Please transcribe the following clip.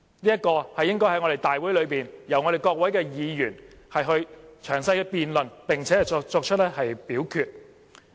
這應在我們的大會上，由我們各位議員作詳細辯論，並作表決。